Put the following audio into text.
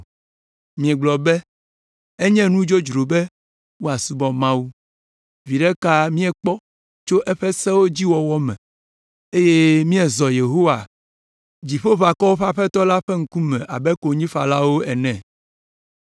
“Miegblɔ be, ‘Enye nu dzodzro be woasubɔ Mawu. Viɖe ka míekpɔ to eƒe sewo dzi wɔwɔ me eye míezɔ le Yehowa, Dziƒoʋakɔwo ƒe Aƒetɔ la ƒe ŋkume abe konyifalawo ene?’